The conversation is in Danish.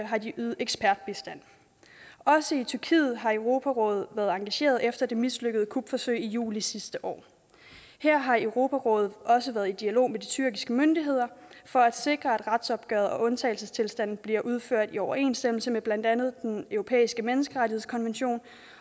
har de ydet ekspertbistand også i tyrkiet har europarådet været engageret efter det mislykkede kupforsøg i juli sidste år her har europarådet også været i dialog med de tyrkiske myndigheder for at sikre at retsopgøret og undtagelsestilstanden bliver udført i overensstemmelse med blandt andet den europæiske menneskerettighedskonvention